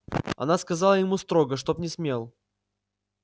она сказала ему строго чтоб не смел